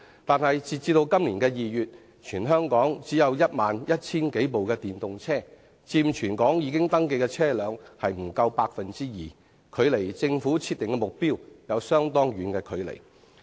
但是，截至今年2月，全香港只有 11,000 多輛電動車，佔全港已登記的車輛不足 2%， 距離政府設定的目標甚遠。